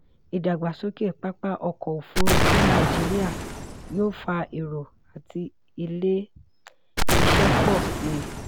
ìdàgbàsókè pápá ọkọ̀ òfurufú nàìjíríà yóò fà èrò àti ilé-iṣẹ́ pọ̀ síi.